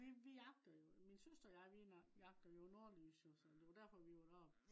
vi vi jagter jo. min søster og jeg vi jagter jo nordlys jo så. så det var derfor vi var derop